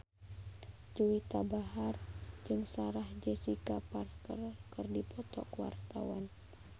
Juwita Bahar jeung Sarah Jessica Parker keur dipoto ku wartawan